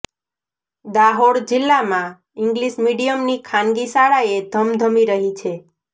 દાહોદ જિલ્લામાં ઇંગ્લિશ મીડિયમની ખાનગી શાળાએ ધમધમી રહી છે